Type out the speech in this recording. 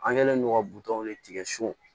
An kɛlen don ka buton de tigɛ so